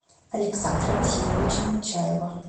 александра васильевича нечаева